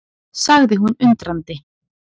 sagði hún undrandi.